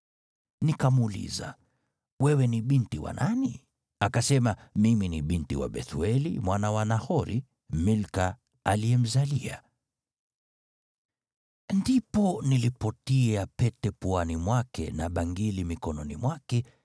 “Nikamuuliza, ‘Wewe ni binti wa nani?’ “Akasema, ‘Mimi ni binti wa Bethueli, mwana wa Nahori, Milka aliyemzalia.’ “Ndipo nilipotia pete puani mwake na bangili mikononi mwake,